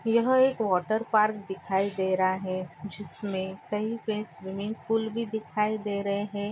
यह एक water park दिखाई दे रहा है जिसमे कही पे स्विमिंग पूल भी दिखाई दे रहे है।